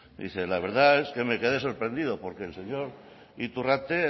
la verdad es que me quede sorprendido porque el señor iturrate